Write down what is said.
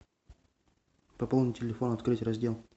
пополнить телефон открыть раздел